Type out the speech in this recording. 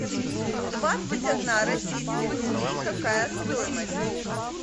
двадцать одна российских рублей какая стоимость